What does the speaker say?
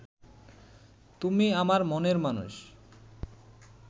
তুমি আমার মনের মানুষ